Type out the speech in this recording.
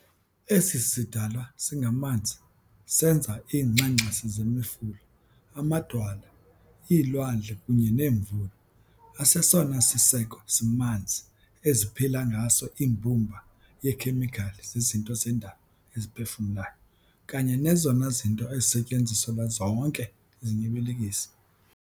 Esi sidalwa singamanzi senza iingxangxasi zemifula, amadwala, iilwandle kunye neemvula, asesona siseko simanzi eziphila ngaso imbumba yeekhemikhali zezinto zendalo eziphefumlayo, kanye nezona zinto ezisetyenziselwa zonke izinyibilikisi.